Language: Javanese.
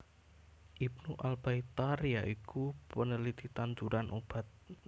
Ibnu Al Baitar ya iku peneliti tanduran obat